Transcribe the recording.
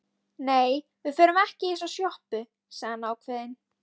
Nei, við förum ekki í þessa sjoppu, sagði hann ákveðinn.